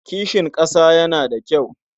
Kishin ƙasa yana da kyau.